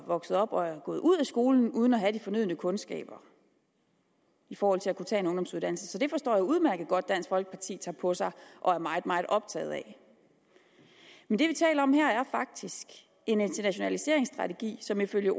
vokset op og er gået ud af skolen uden at have de fornødne kundskaber i forhold til at kunne tage en ungdomsuddannelse så det forstår jeg udmærket godt at dansk folkeparti tager på sig og er meget meget optaget af men det vi taler om her er faktisk en internationaliseringsstrategi som ifølge